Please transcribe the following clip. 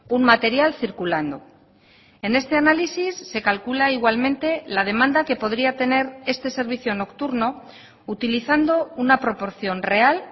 un material circulando en este análisis se calcula igualmente la demanda que podría tener este servicio nocturno utilizando una proporción real